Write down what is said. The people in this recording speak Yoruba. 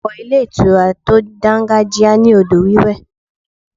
Ọ̀pọ̀ ilé ìtura tó dangajia ní odò wiwe.